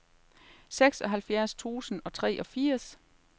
seksoghalvfjerds tusind og treogfirs